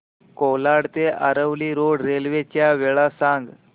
कोलाड ते Aravali road railway च्या वेळा सांग